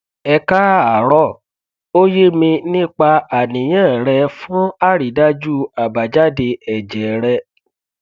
ẹ káàárọ o ye mi nípa aniyan re fun àrídájú abájáde èjè rẹ